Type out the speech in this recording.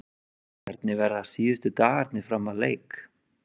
Hvernig verða síðustu dagarnir fram að leik?